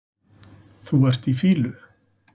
Þú ert í fýlu